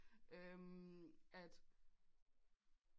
Øm at